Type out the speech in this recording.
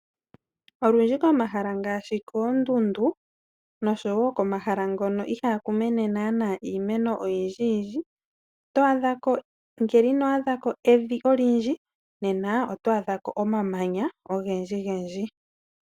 Olundji komahala ngaashi koondundu, nosho woo komahala ngono ihaaku mene naanaa iimeno oyindji yindji . Ngele ino adhako evi olundji nena oto adhako omamanya ogendji gendji.